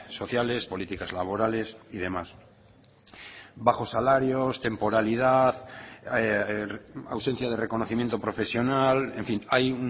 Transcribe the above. sociales políticas laborales y demás bajos salarios temporalidad ausencia de reconocimiento profesional en fin hay